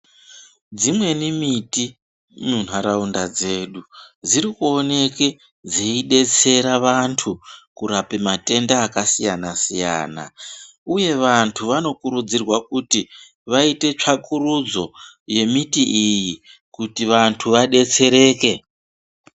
Dzimweni miti munharaunda dzedu dzirikuoneke dzeidetsera vantu kurape matenda akasiyana siyana uye vantu vanokurudzirwa kuti vaite tsvakurudzo yembiti iyi kuti vantu vadetsereke.